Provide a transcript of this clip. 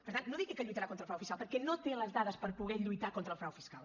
per tant no digui que lluitarà contra el frau fiscal perquè no té les dades per poder lluitar contra el frau fiscal